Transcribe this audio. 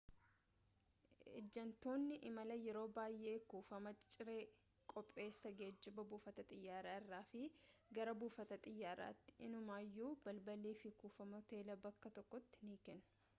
ejantoonni imalaa yeroo baayyee kuufama ciree qopheessa geejiba buufata xiyyaara irraa fi gara buufata xiyyaaraattii innumayyuu balallii fi kuufama hoteelaa bakka tokkottii ni kennu